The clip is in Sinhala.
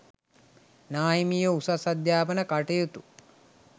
නාහිමියෝ උසස් අධ්‍යාපන කටයුතු